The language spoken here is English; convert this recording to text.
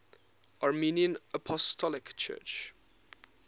armenian apostolic church